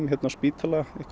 hérna á spítalanum